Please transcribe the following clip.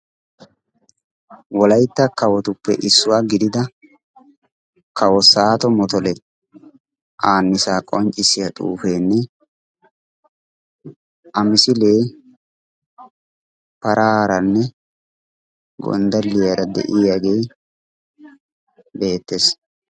wolaytta kawotuppe issuwaa gidida kawo saato motole aannisaa qonccissiya xuufeenne a misilee paraaranne gonddaliyaara de'iyaagee beettees